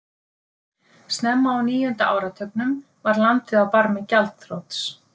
Snemma á níunda áratugnum var landið á barmi gjaldþrots.